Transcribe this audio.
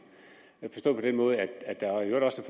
forstået på den måde at der i øvrigt også